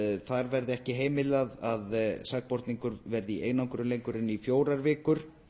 þar verði ekki heimilað að sakborningur verði í einangrun lengur en í fjórar vikur